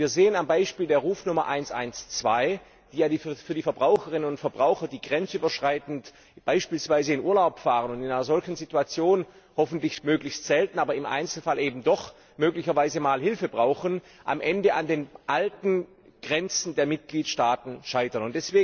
Wir sehen am Beispiel der Rufnummer 112, dass Verbraucherinnen und Verbraucher, die grenzüberschreitend beispielsweise in Urlaub fahren und in einer solchen Situation hoffentlich möglichst selten, aber im Einzelfall eben doch Hilfe brauchen, am Ende an den alten Grenzen der Mitgliedstaaten scheitern.